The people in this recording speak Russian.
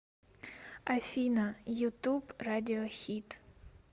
афина ютуб радиохид